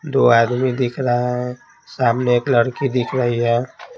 दो आदमी दिख रहा है सामने एक लड़की दिख रही है।